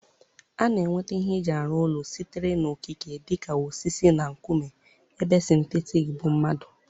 A na-enweta ihe eji arụ ụlọ sitere n'okike dị ka osisi na nkume ebe sịntetik bụ mmadụ.